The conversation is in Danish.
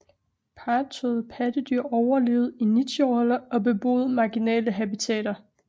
Parrettåede pattedyr overlevede i nicheroller og beboede marginale habitater